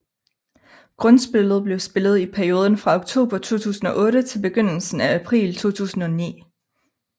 Grundspillet blev spillet i perioden fra oktober 2008 til begyndelsen af april 2009